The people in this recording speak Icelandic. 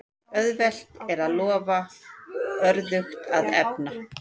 Auðvelt er að lofa, örðugt að efna.